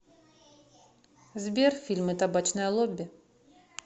сбер фильмы табачное лобби